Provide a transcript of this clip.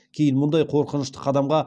кейін мұндай қорқынышты қадамға